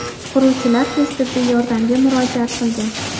Quruvchilar tez tibbiy yordamga murojaat qilgan.